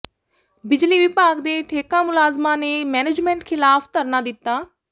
ਬਿਜਲੀ ਵਿਭਾਗ ਦੇ ਠੇਕਾ ਮੁਲਾਜ਼ਮਾਂ ਨੇ ਮੈਨੇਜਮੇਂਟ ਖ਼ਿਲਾਫ਼ ਧਰਨਾ ਦਿੱਤਾ